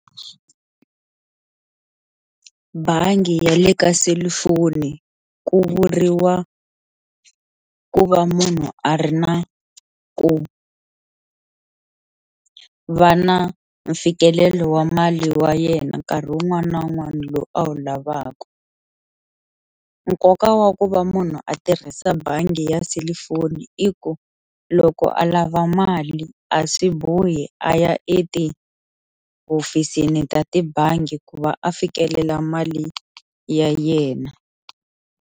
Bangi ya le ka selifoni ku vuriwa ku va munhu a ri na ku a va na mfikelelo wa mali wa yena nkarhi wun'wana na wun'wana lowu a wu lavaku, nkoka wa ku va munhu a tirhisa bangi ya selifoni i ku loko a lava mali a swi bohi a ya etihofisini ta tibangi ku va a fikelela mali ya yena.